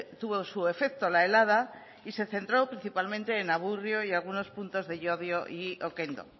tuvo su efecto la helada y se centró principalmente en amurrio y en algunos puntos de llodio y okendo